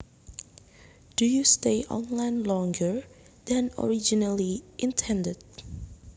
Do you stay online longer than originally intended